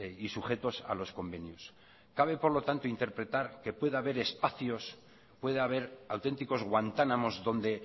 y sujetos a los convenios cabe por lo tanto interpretar que pueda haber espacios puede haber auténticos guantánamos donde